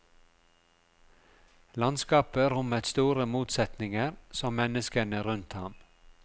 Landskapet rommet store motsetninger, som menneskene rundt ham.